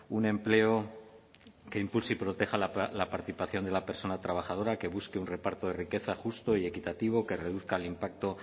un empleo que impulse y proteja la participación de la persona trabajadora que busque un reparto de riqueza justo y equitativo que reduzca el impacto